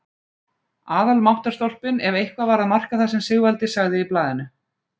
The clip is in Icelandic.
Aðalmáttarstólpinn ef eitthvað var að marka það sem Sigvaldi sagði í blaðinu!